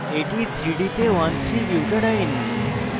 এটি 3d তে 13butadiene